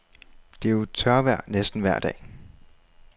Det er jo tørvejr næsten vejr dag.